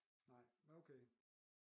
Nej men okay